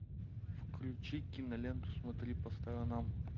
включи киноленту смотри по сторонам